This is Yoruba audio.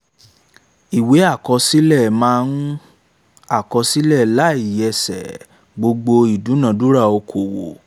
ìwé àkọsílẹ̀ máa ń àkọsílẹ̀ láìyẹsẹ̀ gbogbo ìdúnadúrà okòwò